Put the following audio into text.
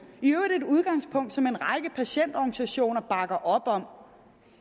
i øvrigt et udgangspunkt som en række patientorganisationer bakker op om